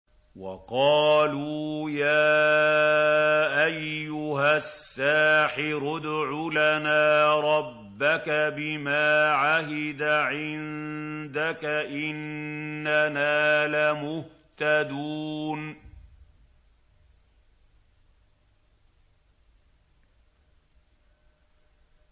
وَقَالُوا يَا أَيُّهَ السَّاحِرُ ادْعُ لَنَا رَبَّكَ بِمَا عَهِدَ عِندَكَ إِنَّنَا لَمُهْتَدُونَ